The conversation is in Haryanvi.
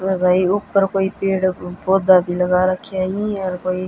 अर भई ऊपर कोई पेड़ पौधा भी लगा राख्या हंइ अर भई--